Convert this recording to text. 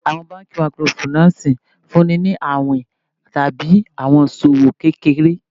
Àwọn banki Microfinance fúnni ni àwìn tàbí àwọn iṣòwò kékeré.